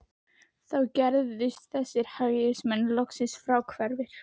Þá gerðust þessir hægrimenn loks fráhverfir